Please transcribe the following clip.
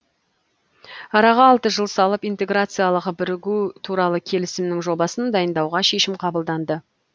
араға алты жыл салып интеграциялық бірігу туралы келісімнің жобасын дайындауға шешім қабылданды